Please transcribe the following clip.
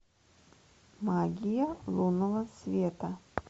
магия лунного света